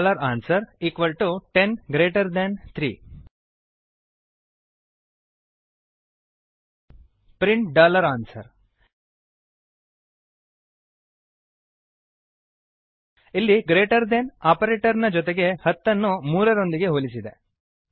answer 10 3 print answer ಇಲ್ಲಿ greater than greater then operator ನ ಜೊತೆಗೆ 10 ಅನ್ನು 3 ರೊಂದಿಗೆ ಹೋಲಿಸಿದೆ